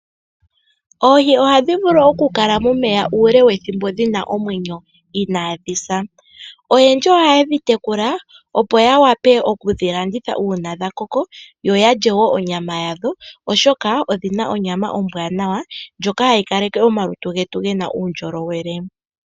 Oohi oha dhi vulu okukala momeya uule wethimbo dhina omwenyo inaadhi sa. Oyendji oha ye dhi tekula opo ya wape oku dhi landitha uuna dha koko, yo ya lye wo onyama yadho. Oshoka odhina onyama ombwaanawa ndjoka hayi kaleke omalutu getu gena uundjolowele.